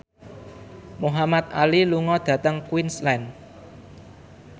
Muhamad Ali lunga dhateng Queensland